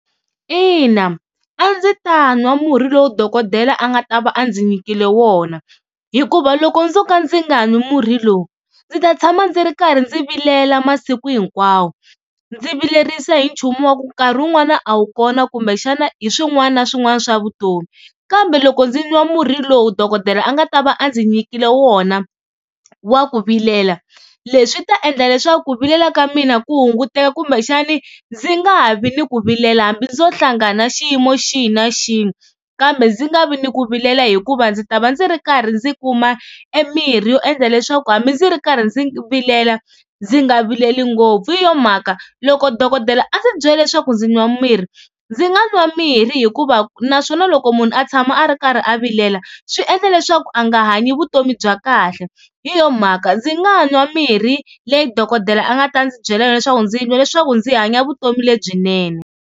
Ina a ndzi ta nwa murhi lowu dokodela a nga ta va a ndzi nyikile wona, hikuva loko ndzo ka ndzi nga nwi murhi lowu ndzi ta tshama ndzi ri karhi ndzi vilela masiku hinkwawo, ndzi vilerisa hi nchumu wa ku nkarhi wun'wani a wu kona kumbexana hi swin'wana na swin'wana swa vutomi. Kambe loko ndzi nwa murhi lowu dokodela a nga ta va a ndzi nyikile wona wa ku vilela leswi swi ta endla leswaku ku vilela ka mina ku hunguteka kumbexani ndzi nga ha vi ni ku vilela hambi ndzo hlangana na xiyimo xihi na xihi kambe ndzi nga vi ni ku vilela. Hikuva ndzi ta va ndzi ri karhi ndzi kuma e mirhi yo endla leswaku hambi ndzi ri karhi ndzi vilela ndzi nga vileli ngopfu. Hi yo mhaka loko dokodela a ndzi byela leswaku ndzi nwa mirhi ndzi nga nwa mirhi hikuva naswona loko munhu a tshama a ri karhi a vilela swi endla leswaku a nga hanyi vutomi bya kahle, hi yo mhaka ndzi nga nwa mirhi leyi dokodela a nga ta ndzi byela leswaku ndzi nwa leswaku ndzi hanya vutomi lebyinene.